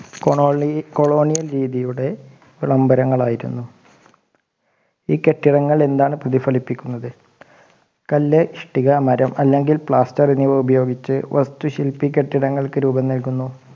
colony Colonial രീതിയുടെ വിളംബരങ്ങൾ ആയിരുന്നു ഈ കെട്ടിടങ്ങൾ എന്താണ് പ്രതിഫലിപ്പിക്കുന്നത് കല്ല് ഇഷ്ടിക മരം അല്ലെങ്കിൽ plaster എന്നിവ ഉപയോഗിച്ച് വസ്തുശില്പി കെട്ടിടങ്ങൾക്ക് രൂപം നൽകുന്നു